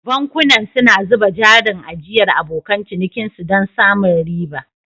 Bankunan suna zuba jarin ajiyar abokan cinikinsu don samun riba.